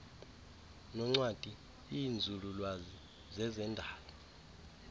noncwadi iinzululwazi zezendalo